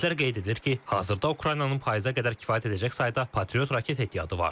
Ekspertlər qeyd edir ki, hazırda Ukraynanın payıza qədər kifayət edəcək sayda patriot raket ehtiyatı var.